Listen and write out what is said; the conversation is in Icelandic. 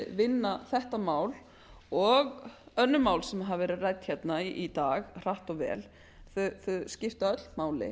vinna þetta mál og önnur mál sem hafa verið rædd í dag hratt og vel þau skipta öll máli